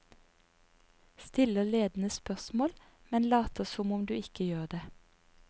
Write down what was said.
Stiller ledende spørsmål, men later som om du ikke gjør det.